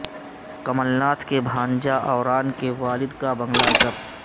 کمل ناتھ کے بھانجہ اوران کے والد کا بنگلہ ضبط